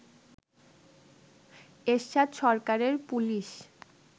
এরশাদ সরকারের পুলিশ